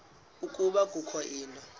ukuba kukho into